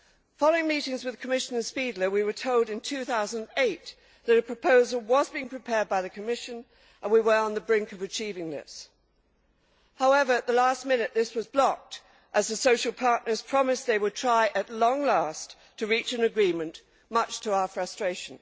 Following meetings with Commissioner Špidla, we were told in 2008 that a proposal was being prepared by the Commission and we were on the brink of achieving this. However, at the last minute, this was blocked as the social partners promised they would try, at long last, to reach an agreement, much to our frustration.